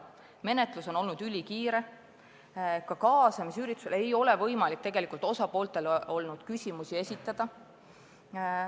Menetlus on olnud ülikiire, ka kaasamisüritusel ei ole osapooltel tegelikult olnud võimalik küsimusi esitada.